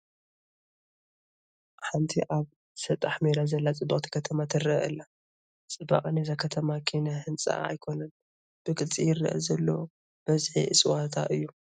ሓንቲ ኣብ ሰጣሕ ሜዳ ዘላ ፅብቕቲ ከተማ ትርአ ኣላ፡፡ ፅባቐ ናይዛ ከተማ ኪነ ህንፅኣ ኣይኮነን፡፡ ብግልፂ ይርአ ዘሎ በዝሒ እፅዋታ እዩ፡፡